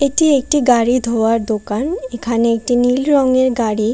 এটি একটি গাড়ি ধোয়ার দোকান এখানে একটি নীল রঙের গাড়ি।